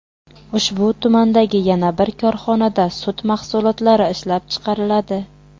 Ushbu tumandagi yana bir korxonada sut mahsulotlari ishlab chiqariladi.